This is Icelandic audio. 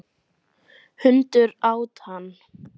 Hundur át hann.